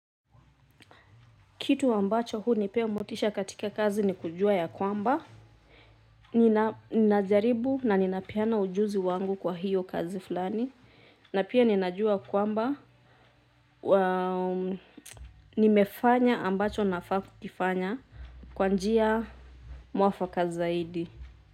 Kitu ambacho hunipea motisha katika kazi ni kujua ya kwamba. Ninazijaribu na ninapeana ujuzi wangu kwa hiyo kazi fulani. Na pia ninajua kwamba nimefanya ambacho nafaa kukifanya kwa njia mwafaka zaidi.